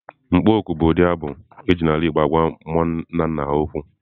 Mkpọ oku bụ ụdị abụ e ji n'ala igbo agwa mmụọ nna nna ha okwu.